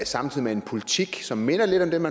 samtidig med en politik som minder lidt om